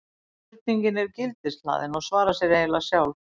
spurningin er gildishlaðin og svarar sér eiginlega sjálf